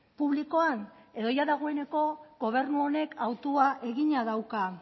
publikoan edo dagoeneko gobernu honek hautua egina dauka